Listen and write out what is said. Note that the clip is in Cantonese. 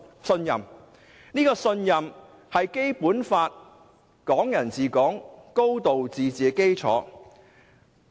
信任是《基本法》、"港人治港"、"高度自治"的基礎。